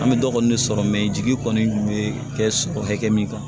An bɛ dɔ kɔni sɔrɔ mɛ jigi kɔni bɛ kɛ hakɛ min kan